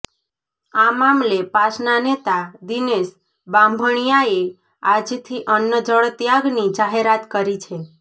આ મામલે પાસના નેતા દિનેશ બાંભણીયાએ આજથી અન્નજળ ત્યાગની જાહેરાત કરી છે